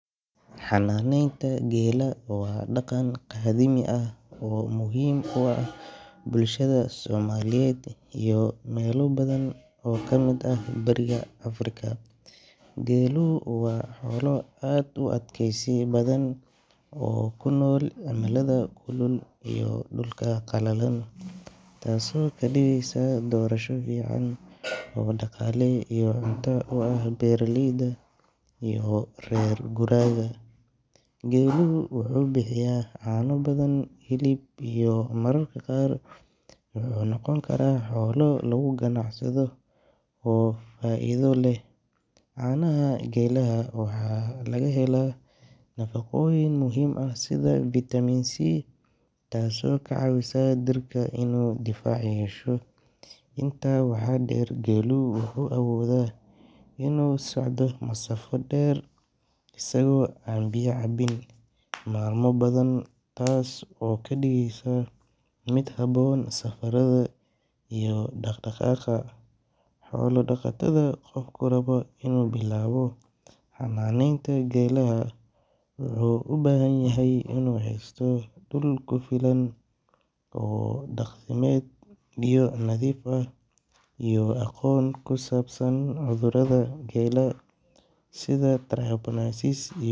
xananeynta gelaha waa daqan qadami ah oo muhim uah somaliyed iyo melo badhan oo kamid ah bariga africa, gelihu waa xolaa aad igu adkeysi badhan oo kunol cimalada kulul iyo dulka qalalan, tasi oo kadigeysa dorasho fican oo daqale iyoh cunto uah beraleyda iyo rer guraga, geluhu wuxu bixiyah cano badhan hilib iyo mararka qar wuxu noqoni kara xolo lagu gacsado oo faido leh, canaha geliga waxa laga helo nafaqoyin muhim ah sidha vitamin c tasi okacawiso jirka inu difac yesho, inta waxa der gelowga wuxu awodha inu socdo masafo der asago aan biyo cabin malmo badhan tasi oo kadigeysa mid habon saqarada iyo daqdaqaqa, xola daqatadha qofki rabo inu bilabto xananeynta gelaha wuxu ubahanyahay inu helo dul kufilan oo daqamed, biyo nadif ah iyo aqon kusabsan cudurada geleha sidha tarcabanansis.